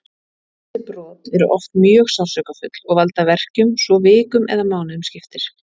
Þessi brot eru oft mjög sársaukafull og valda verkjum svo vikum eða mánuðum skiptir.